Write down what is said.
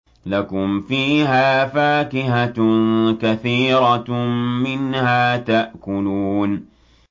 لَكُمْ فِيهَا فَاكِهَةٌ كَثِيرَةٌ مِّنْهَا تَأْكُلُونَ